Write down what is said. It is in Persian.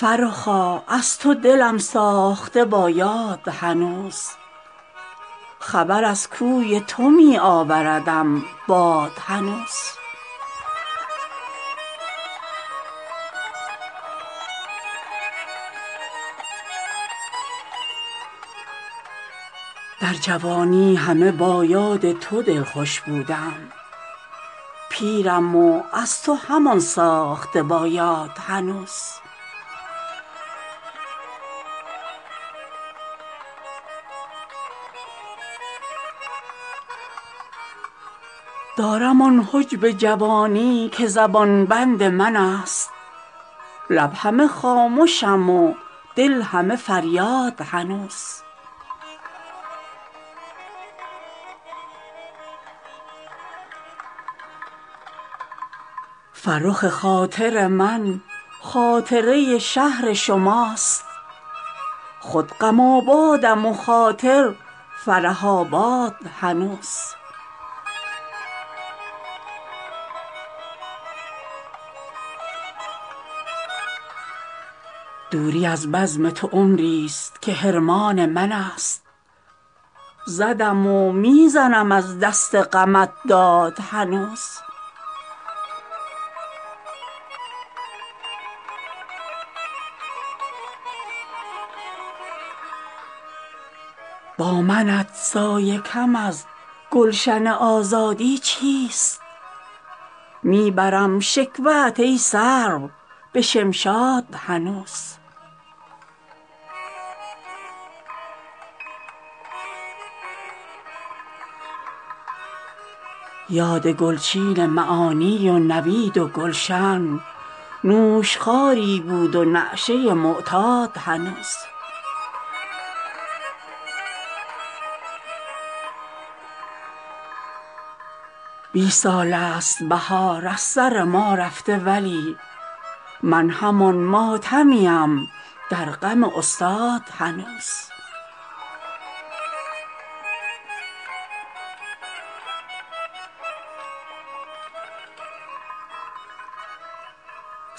فرخا از تو دلم ساخته با یاد هنوز خبر از کوی تو می آوردم باد هنوز در جوانی همه با یاد تو دلخوش بودم پیرم و از تو همان ساخته با یاد هنوز دارم آن حجب جوانی که زبان بند من است لب همه خامشیم دل همه فریاد هنوز من که با صد دل دیوانه تو را می جستم نیست از سلسله ام یک دل آزاد هنوز پیرم و تیغ جوانیم زند گردن بخت بس به این تیغ زدن جلدم و جلاد هنوز فرخ خاطر من خاطره شهر شماست خود غم آبادم و خاطر فرح آباد هنوز طوطی قند خراسانم و یاد لب تو می گشاید به رخم دکه قناد هنوز دوری از بزم تو عمری است که حرمان من است زدم و می زنم از دست غمت داد هنوز با منت سایه کم از گلشن آزادی چیست می برم شکوه ات ای سرو به شمشاد هنوز یاد گلچین معانی و نوید و گلشن نوش خواری بود و نشیه معتاد هنوز بیست سال است بهار از سر ما رفته ولی من همان ماتمیم در غم استاد هنوز